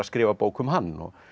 skrifa bók um hann og